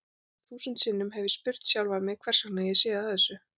Þúsund sinnum hef ég spurt sjálfan mig hversvegna ég sé að þessu.